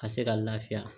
Ka se ka lafiya